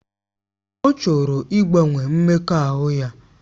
Ọ chọrọ ịgbanwe mmekọahụ ya